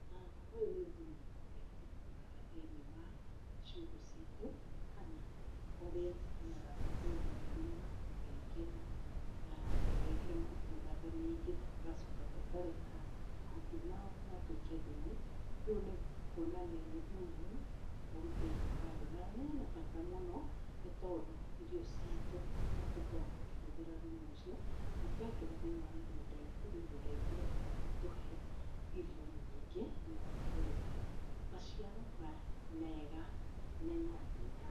Ũyũ nĩ thumu ũrĩa tũgũraga thĩiniĩ wa ciugũ citũ, kana ũrĩa tũthiaga tũkenja marima na tũgekĩra mahuti mĩthemba mĩingĩ, na tũkareka mahuti mau matuĩke thumũ, nĩ kwonania nĩ thumu ũrutĩtwo handũ, na hena bata mũno, nĩ tondũ irio ciitũ nĩ tũkoragwo tũkĩhũthĩra thumu ũcio na twekĩra thĩiniĩ wa mĩgũnda itũ, mĩgũnda itũ ĩgakorwo ĩgĩtũhe irio nyingĩ na ĩgakorwo ĩgĩtuhe maciaro mega mena hinya.